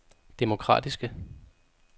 demokratiske